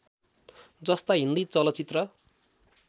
जस्ता हिन्दी चलचित्र